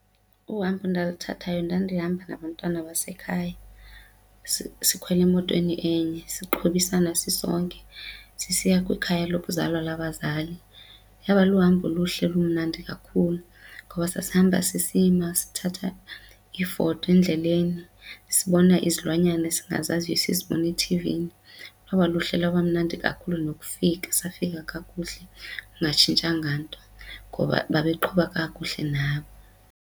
Uhambo endiluthathayo ndandihamba nabantwana abesekhaya sikhwele emotweni enye siqhobisana sisonke sisiya kwikhaya lokuzalwa lwabazali. Yaba luhambo oluhle olumnandi kakhulu ngoba sasihamba sisima sithatha iifoto endleleni sibona izilwanyana esingazaziyo esizibona ethivini. Lwaba luhle lwaba mnandi kakhulu nokufika safika kakuhle kungatshintshanga nto ngoba babeqhuba kakuhle nabo.